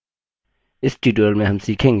इस tutorial में हम सीखेंगे